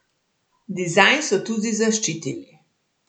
Dizajn so tudi zaščitili.